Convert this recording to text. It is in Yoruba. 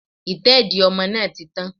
Ìtẹ́dìí ọmọ náà ti tán